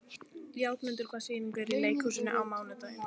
Játmundur, hvaða sýningar eru í leikhúsinu á mánudaginn?